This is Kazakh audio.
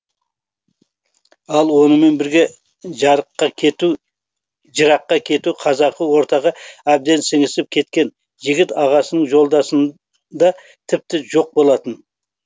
ал онымен бірге жыраққа кету қазақы ортаға әбден сіңісіп кеткен жігіт ағасының жолдасында тіпті жоқ болатын